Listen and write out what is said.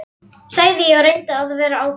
sagði ég og reyndi að vera ákveðinn.